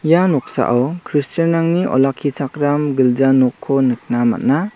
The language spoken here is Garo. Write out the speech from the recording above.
ia noksao kristianrangni olakkichakram gilja nokko nikna man·a.